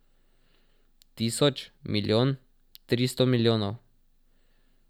Tisoč, milijon, tristo milijonov.